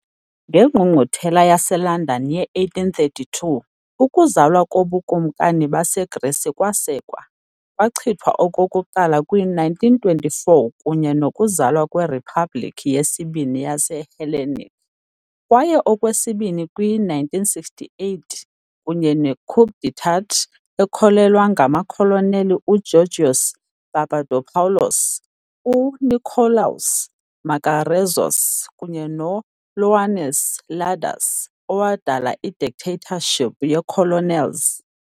NgeNgqungquthela yaseLondon ye-1832 ukuzalwa koBukumkani baseGrisi kwasekwa, kwachithwa okokuqala kwi-1924 kunye nokuzalwa kweRiphabhliki yesiBini yaseHellenic, kwaye okwesibini kwi-1968 kunye ne-coup d'état ekhokelwa ngamakholoneli uGeōrgios Papadopoulos, U-Nikolaos Makarezos kunye no-Ioannis Ladas, owadala i -Dictatorship ye-Colonels.